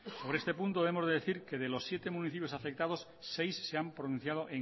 sobre este punto debemos decir que de los siete municipios afectados seis se han pronunciado